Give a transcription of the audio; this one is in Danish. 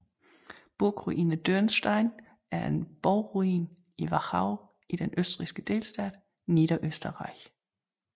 Burgruine Dürnstein er en borgruin i Wachau i den østrigske delstat Niederösterreich